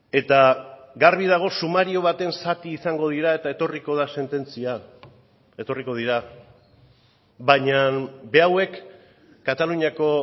eta garbi dago sumario baten zati izango dira eta etorriko da sententzia etorriko dira baina berauek kataluniako